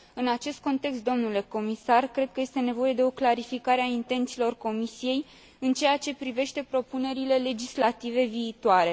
În acest context, domnule comisar, cred că este nevoie de o clarificare a intențiilor Comisiei în ceea ce privește propunerile legislative viitoare.